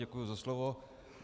Děkuji za slovo.